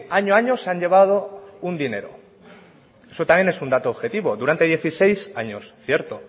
año a año se han llevado un dinero eso también es un dato objetivo durante dieciséis años cierto